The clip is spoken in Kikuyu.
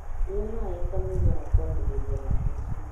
Nyua maĩ kamũira wa kwambĩrĩria matici